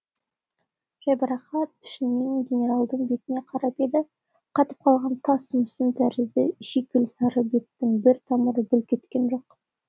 жайбарақат пішінмен генералдың бетіне қарап еді қатып қалған тас мүсін тәрізді шикіл сары бетінің бір тамыры бүлк еткен жоқ